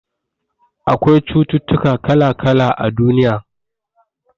Akwai cututtuka kala-kala a duniya.